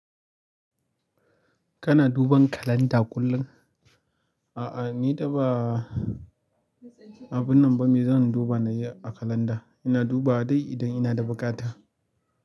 Kana duban kalanda kullum? A'a, ni da ba abun nan ba me zan duba na yi a kalanda. Ina dubawa dai idan ina da buƙata.